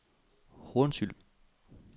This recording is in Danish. Hornsyld